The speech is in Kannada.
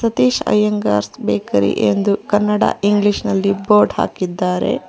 ಸತೀಶ್ ಅಯ್ಯಂಗಾರ್ಸ್ ಬೇಕರಿ ಎಂದು ಕನ್ನಡ ಇಂಗ್ಲೀಷ್ನಲ್ಲಿ ಬೋರ್ಡ್ ಹಾಕಿದ್ದಾರೆ.